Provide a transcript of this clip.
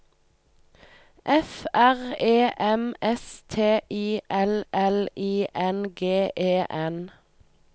F R E M S T I L L I N G E N